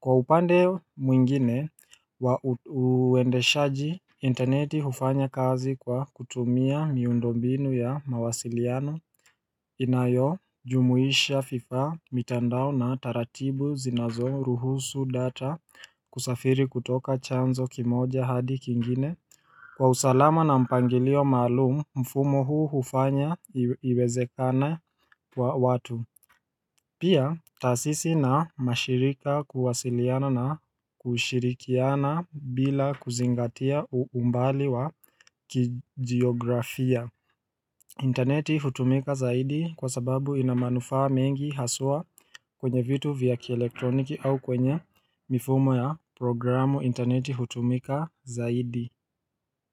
Kwa upande mwingine, uendeshaji interneti hufanya kazi kwa kutumia miundo mbinu ya mawasiliano inayo jumuisha vifaa mitandao na taratibu zinazoruhusu data kusafiri kutoka chanzo kimoja hadi kingine. Kwa usalama na mpangilio malumu mfumo huu hufanya iwezekane kwa watu Pia taasisi na mashirika kuwasiliana na kushirikiana bila kuzingatia umbali wa kijiografia interneti hutumika zaidi kwa sababu ina manufaa mengi haswa kwenye vitu vya kielektroniki au kwenye mifumo ya programu interneti hutumika zaidi.